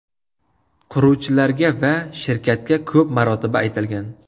Quruvchilarga va shirkatga ko‘p marotaba aytilgan.